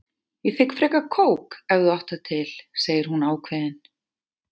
Ég þigg frekar kók ef þú átt það til, segir hún ákveðin.